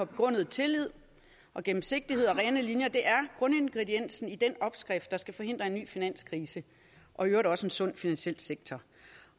begrundede tillid og gennemsigtigheden og de rene linjer det er grundingrediensen i den opskrift der skal forhindre en ny finanskrise og i øvrigt også sikre en sund finansiel sektor